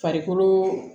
Farikolo